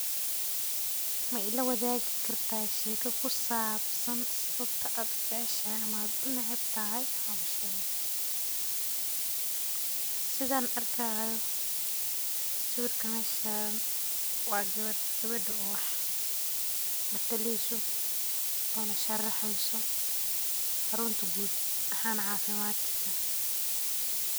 Ma ilawadaagi kartaa sheeko ku saabsan sababta aad u jeceshahay ama u neceb tahay hawshadan, sidan arkaya meesha wa geber oo wax na talinayso oo na sharxahayso caroonta guud ahaana caafimaadka.